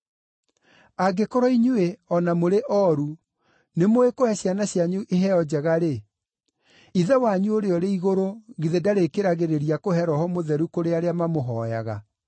Angĩkorwo inyuĩ, o na mũrĩ ooru, nĩmũũĩ kũhe ciana cianyu iheo njega-rĩ, Ithe wanyu ũrĩa ũrĩ Igũrũ githĩ ndarĩkĩragĩrĩria kũhe Roho Mũtheru kũrĩ arĩa mamũhooyaga!”